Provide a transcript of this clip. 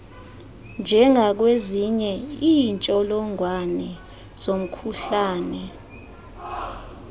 njengakwezinye iintsholongwane zomkhuhlane